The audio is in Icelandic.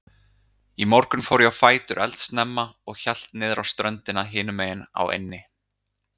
Í morgun fór ég á fætur eldsnemma og hélt niðrá ströndina hinumegin á eynni.